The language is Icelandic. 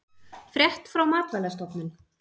Frétt frá Matvælastofnun